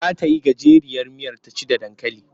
Za ta yi gajeriyar miyar ta ci da dankali.